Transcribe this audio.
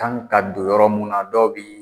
kan ka don yɔrɔ mun na dɔw bi